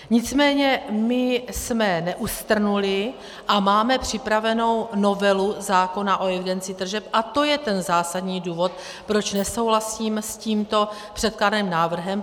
Nicméně my jsme neustrnuli a máme připravenou novelu zákona o evidenci tržeb a to je ten zásadní důvod, proč nesouhlasím s tímto předkládaným návrhem.